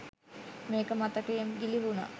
මේක මතකයෙන් ගිළිහුණා.